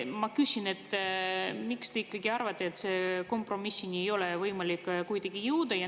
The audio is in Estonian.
Miks te ikkagi arvate, et kompromissile ei ole kuidagi võimalik jõuda?